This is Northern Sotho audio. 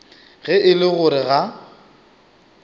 ge e le gore ga